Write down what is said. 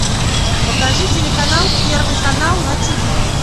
покажи телеканал первый канал на ти ви